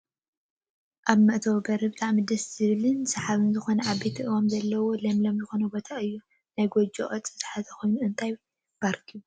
ኣብ ምእታው በሪ ብጣዕሚ ደስ ዝብልን ስሓብን ዝኮነ ዓበይቲ ኣእዋም ዘለወን ለምለም ዝኮነ ቦታ እዩ። ናይ ጎጆ ቅርፂ ዝሓዘ ኮይኑ እንታይ ፓርክ ይብሃል?